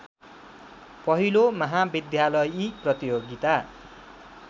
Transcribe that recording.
पहिलो महाविद्यालयी प्रतियोगिता